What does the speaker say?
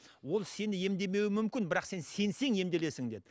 ол сені емдемеуі мүмкін бірақ сен сенсең емделесің деді